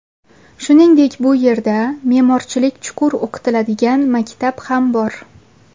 Shuningdek, bu yerda me’morchilik chuqur o‘qitiladigan maktab ham bor.